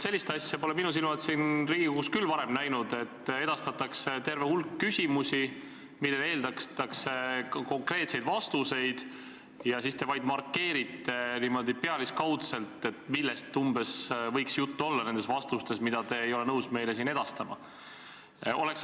Sellist asja pole minu silmad siin Riigikogus küll varem näinud, et edastatakse terve hulk küsimusi, millele eeldatakse konkreetseid vastuseid, ja teie vaid markeerite pealiskaudselt, millest umbes võiks juttu olla nendes vastustes, mida te ei ole nõus meile edastama.